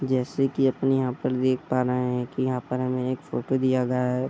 जैसे की अपन यहाँ पे देख पा रहे हैं कि यहाँ पर हमें एक फ़ोटो दिया गया है |